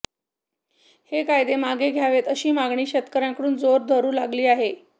हे कायदे मागे घ्यावेत अशी मागणी शेतकऱ्यांकडून जोर धरू लागली आहे